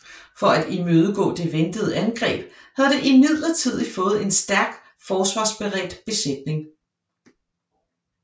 For at imødegå det ventede angreb havde det imidlertid fået en stærk forsvarsberedt besætning